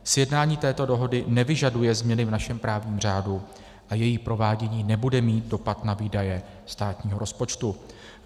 Sjednání této dohody nevyžaduje změny v našem právním řádu a její provádění nebude mít dopad na výdaje státního rozpočtu.